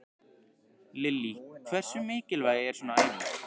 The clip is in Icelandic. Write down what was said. Lillý: Hversu mikilvæg er svona æfing?